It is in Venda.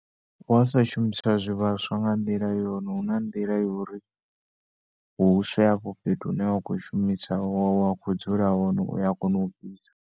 Wa sa shumiswa zwivhaswa nga nḓila yone huna nḓila yori huswe hafho fhethu hune wakho shumiswa wa kho dzula hone uya kona ufhisa.